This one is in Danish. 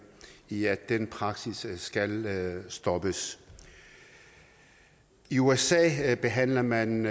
i at den praksis skal stoppes i usa behandler man